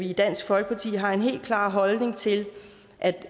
i dansk folkeparti har en helt klar holdning til at